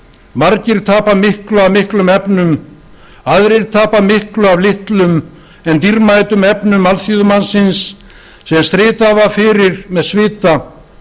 margir tapa miklu af miklum efnum aðrir tapa miklu af litlum en dýrmætum efnum alþýðumannsins sem stritað var fyrir með svita